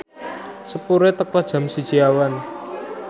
sepure teka jam siji awan